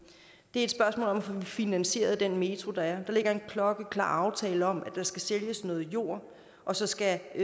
et spørgsmål om at få finansieret den metro der er der ligger en klokkeklar aftale om at der skal sælges noget jord og så skal